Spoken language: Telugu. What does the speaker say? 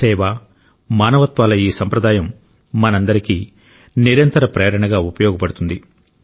సేవ మానవత్వాల ఈ సంప్రదాయం మనందరికీ నిరంతర ప్రేరణగా ఉపయోగపడుతుంది